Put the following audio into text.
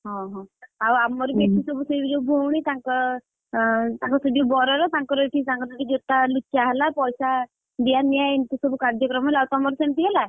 ଅହ, ଆଉ ଆମର ବି ଏଠି ସବୁ ସେଇ ବାଗିଆ ଭଉଣୀ ତାଙ୍କ, ଅଁ ସେ ତାଙ୍କ ସେଯୋଉ ବରର ତାଙ୍କର ଏଠି ତାଙ୍କର ଏଠି ଜୋତା ଲୁଚା ହେଲା ପଇସା, ଦିଆ ନିଆ ଏମିତି ସବୁ କାର୍ଯ୍ୟକ୍ରମ ହେଲା ଆଉ ତମର ସେମିତି ହେଲା?